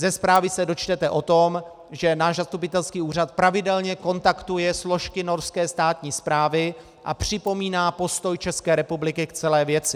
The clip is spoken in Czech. Ze zprávy se dočtete o tom, že náš zastupitelský úřad pravidelně kontaktuje složky norské státní správy a připomíná postoj České republiky k celé věci.